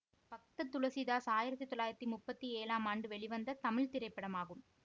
பக்த துளசிதாஸ் ஆயிரத்தி தொள்ளாயிரத்தி முப்பத்தி ஏழாம் ஆண்டு வெளிவந்த தமிழ் திரைப்படமாகும்